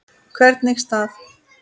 Hvernig staf